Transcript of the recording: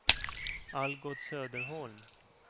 Algot Söderholm